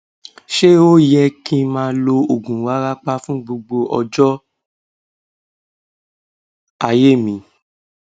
ṣé ó yẹ kí n máa lo oògùn warapa fún gbogbo ọjọ ayé mi